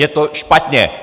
Je to špatně!